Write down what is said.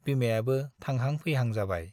बिमायाबो थांहां - फैहां जाबाय ।